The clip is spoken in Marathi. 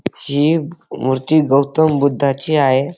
हि मूर्ती गौतम बुद्धाची आहे.